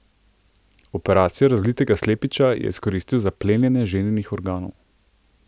Operacijo razlitega slepiča je izkoristil za plenjenje ženinih organov.